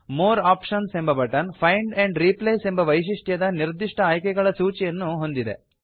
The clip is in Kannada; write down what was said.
ಮೋರ್ ಆಪ್ಷನ್ಸ್ ಎಂಬ ಬಟನ್ ಫೈಂಡ್ ಆಂಡ್ ರಿಪ್ಲೇಸ್ ಎಂಬ ವೈಶಿಷ್ಟ್ಯದ ನಿರ್ದಿಷ್ಟ ಆಯ್ಕೆಗಳ ಸೂಚಿಯನ್ನು ಹೊಂದಿದೆ